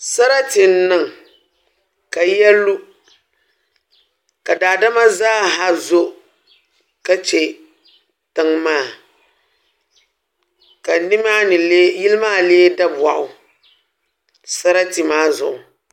Sarati n niŋ ka yiya lu ka daadama zaaha zo ka chɛ tiŋ maa ka yili maa lee daboɣu sarati maa zuɣu